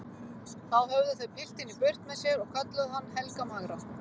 Þá höfðu þau piltinn í burt með sér og kölluðu hann Helga magra.